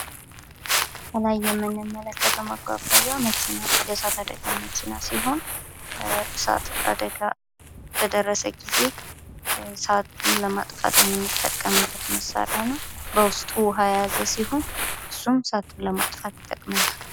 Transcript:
በምስሉ ላይ የምንመለከተው መግዣ የ እሳት አደጋ መከላከያ መኪና ሲሆን እሳት አደጋ በደረሰ ጊዜ የምንገለገልበት መሳሪያ ሲሆን ፤ በውስጡ ውያ የያዘ ሲሆን ፤ እሳቱን ለማጥፋት ይጠቅመናል።